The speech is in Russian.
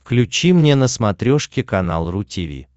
включи мне на смотрешке канал ру ти ви